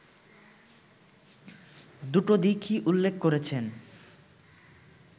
দুটো দিকই উল্লেখ করেছেন